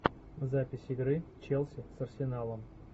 запись игры челси с арсеналом